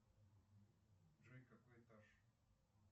джой какой этаж